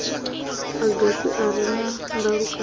agasi a re na ndalukanyo